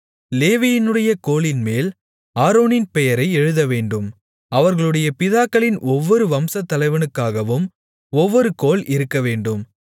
லேவியினுடைய கோலின்மேல் ஆரோனின் பெயரை எழுதவேண்டும் அவர்களுடைய பிதாக்களின் ஒவ்வொரு வம்சத்தலைவனுக்காகவும் ஒவ்வொரு கோல் இருக்கவேண்டும்